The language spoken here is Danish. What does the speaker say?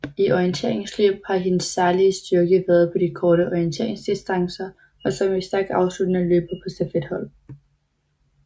I orienteringsløb har hendes særlige styrke været på de korte orienteringsdistancer og som en stærk afsluttende løber på stafethold